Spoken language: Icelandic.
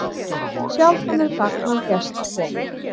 Sjaldan er gagn að gestakomu.